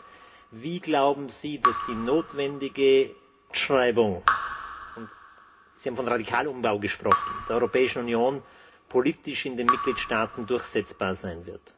Zweitens Wie, glauben Sie, wird die notwendige Fortschreibung Sie haben von Radikalumbau gesprochen der Europäischen Union politisch in den Mitgliedstaaten durchsetzbar sein?